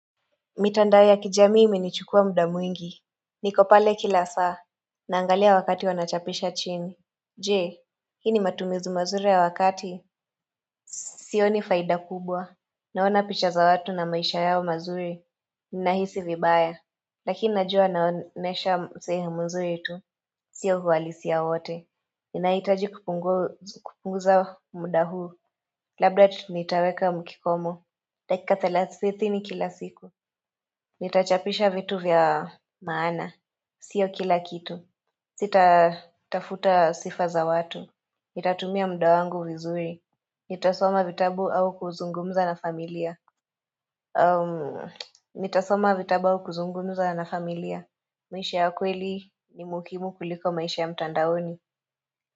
Mitandao ya kijamii imenichukua muda mwingi niko pale kila saa Naangalia wakati wanachapisha chini Je Hii ni matumizi mazuri ya wakati Sio ni faida kubwa Naona picha za watu na maisha yao mazuri Ninahisi vibaya Lakini najua wanaonesha sehemu nzuri itu Sio hualisi ya wote Ninahitaji kupunguza mda huu Labda tunitaweka mkikomo dakika thalasithini kila siku Nitachapisha vitu vya maana. Sio kila kitu. Sita tafuta sifa za watu. Mitatumia mda wangu vizuri. Nitasoma vitabu au kuzungumza na familia. Nitasoma vitabu au kuzungumza na familia. Maisha ya kweli ni muhimu kuliko maisha ya mtandaoni.